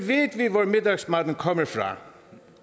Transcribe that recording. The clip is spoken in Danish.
hvor middagsmaden kommer fra